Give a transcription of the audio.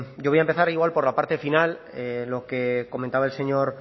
yo voy a empezar igual por la parte final lo que comentaba el señor